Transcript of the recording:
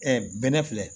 bɛnɛ filɛ